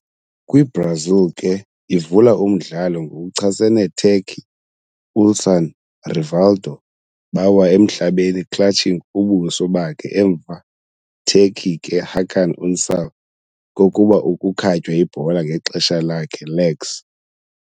Kwi-Brazil ke ivula umdlalo ngokuchasene Turkey, Ulsan, Rivaldo bawa emhlabeni clutching ubuso bakhe emva Turkey ke Hakan Ünsal kokuba ukukhatywa ibhola ngexesha lakhe legs.